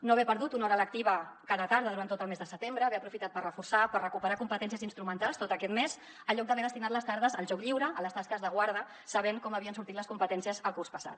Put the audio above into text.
no haver perdut una hora lectiva cada tarda durant tot el mes de setembre haver aprofitat per reforçar per recuperar competències instrumentals tot aquest mes en lloc d’haver destinat les tardes al joc lliure a les tasques de guarda sabent com havien sortit les competències el curs passat